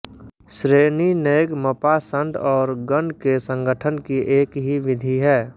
श्रेणिनैगमपाषंड और गण के संगठन की एक ही विधि है